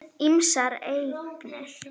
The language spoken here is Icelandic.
Ýmsar eignir.